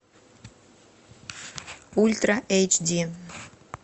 ультра эйч ди